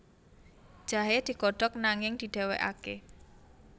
Jahe digodhog nanging didhéwékaké